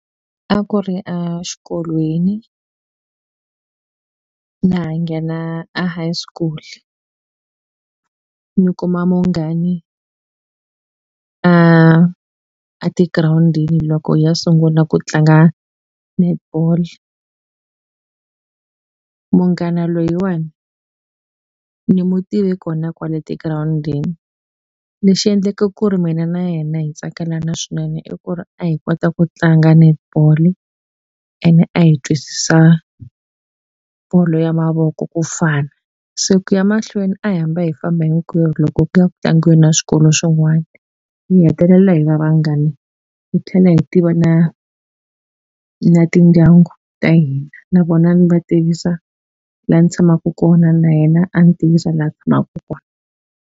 A ku ri a xikolweni na ha nghena a high school ni kuma munghani a a tigirawundini loko hi ya sungula ku tlanga netball munghana loyiwani ni mu tive kona kwale tigirawundini lexi endleka ku ri mina na yena hi tsakelana swinene i ku ri a hi kota ku tlanga netball ene a hi twisisa bolo ya mavoko ku fana se ku ya mahlweni a hi hamba hi famba hinkwerhu loko ku ya ku tlangiweni na swikolo swin'wani hi hetelela hi va vanghani hi tlhela hi tiva na na tindyangu ta hina na vona ni va tivisa la ni tshamaku kona na yena a ni tivisa la tshamaku kona.